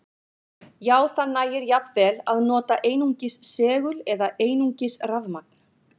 Já, það nægir jafnvel að nota einungis segul eða einungis rafmagn.